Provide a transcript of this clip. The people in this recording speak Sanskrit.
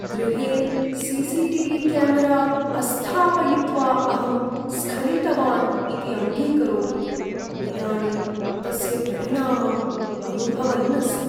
गृहे सी.सी.टी.वी. क्यामेरा अस्थापयित्वा अहं स्खलितवान् इति अङ्गीकरोमि, इदानीं तस्य परिणामम् अनुभवन् अस्मि।